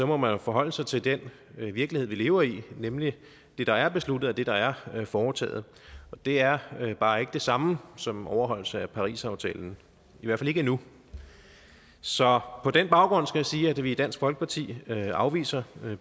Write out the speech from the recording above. må man jo forholde sig til den virkelighed vi lever i nemlig det der er besluttet og det der er foretaget og det er bare ikke det samme som en overholdelse af parisaftalen i hvert fald ikke endnu så på den baggrund skal jeg sige at vi i dansk folkeparti afviser